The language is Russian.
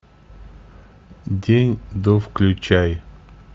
день до включай